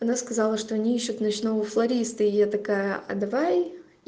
она сказала что они ищут ночного флориста а я такая а давай